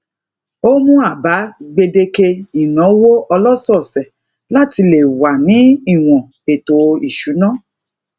o mu aba gbedeke inawo oloseese lati le wa ni iwon eto isuna